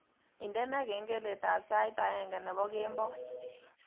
Indene kengeletab sait aeng nebo kemboi